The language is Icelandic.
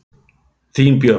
Þín Björk.